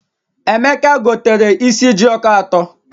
Emeka gotere is jioko atọ.